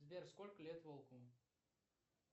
сбер сколько лет волку